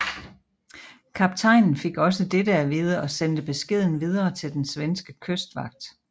Kaptajnen fik også dette at vide og sendte beskeden videre til den svenske kystvagt